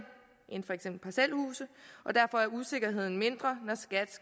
end for eksempel parcelhuse og derfor er usikkerheden mindre når skat